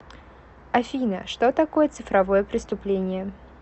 афина что такое цифровое преступление